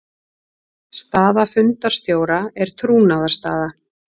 Staða fundarstjóra er trúnaðarstaða.